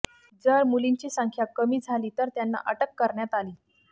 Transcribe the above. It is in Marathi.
जर मुलींची संख्या कमी झाली तर त्यांना अटक करण्यात आली